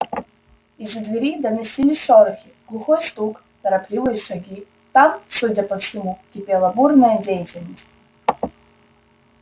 из-за двери доносились шорохи глухой стук торопливые шаги там судя по всему кипела бурная деятельность